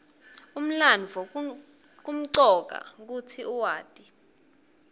umlandvo kumcoka kutsi uwati